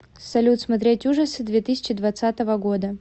салют смотреть ужасы две тысячи двадцатого года